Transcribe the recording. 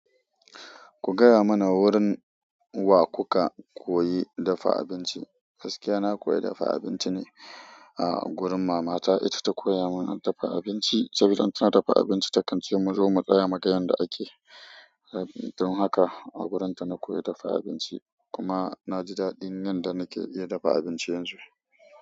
Ku gaya mana wurin wa kuka koyi dafa abinci. Gaskiya na koyi dafa abinci ne a gurin mama ta. Ita ta koya mun dafa abinci. Sabida in tana dafa abinci takan ce mu, zo mu tsaya muga yanda ake. Don haka a gurin ta na koyi dafa abinci kuma na ji daɗin yan da nake iya dafa abinci yanzu.